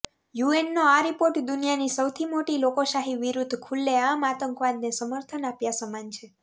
યૂએનનો આ રિપોર્ટ દુનિયાની સૌથી મોટી લોકશાહી વિરુદ્ધ ખુલ્લેઆમ આતંકવાદને સમર્થન આપ્યા સમાન છે